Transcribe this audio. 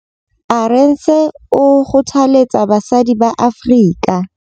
Arendse o kgothaletsa basadi ba Afrika